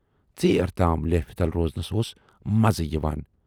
ژیر تام لیفہِ تل روزنَس اوس مَزٕ یِوان۔